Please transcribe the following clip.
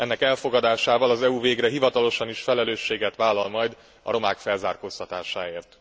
Ennek elfogadásával az EU végre hivatalosan is felelősséget vállal majd a romák felzárkóztatásáért.